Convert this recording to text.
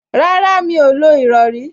Rárá, Mí ò lo ìrọrí